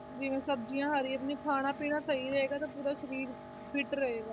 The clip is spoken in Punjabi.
ਜਿਵੇਂ ਸਬਜ਼ੀਆਂ ਹਰੀਆਂ ਆਪਣਾ ਖਾਣਾ ਪੀਣਾ ਸਹੀ ਰਹੇਗਾ ਤੇ ਪੂਰਾ ਸਰੀਰ fit ਰਹੇਗਾ